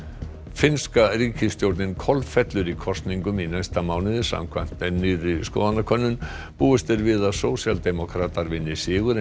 finnska ríkisstjórnin kolfellur í kosningum í næsta mánuði samkvæmt nýrri skoðanakönnun búist er við að sósíaldemókratar vinni sigur en